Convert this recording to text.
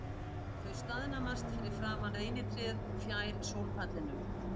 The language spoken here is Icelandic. Þau staðnæmast fyrir framan reynitréð fjær sólpallinum.